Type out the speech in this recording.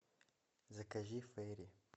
закажи фейри